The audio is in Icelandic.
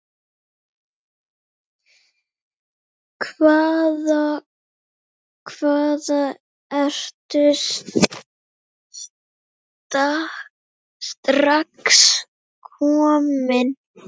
Hvaða, hvaða, ertu strax kominn?